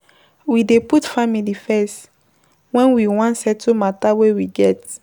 We dey put family first, wen we wan settle mata wey we get.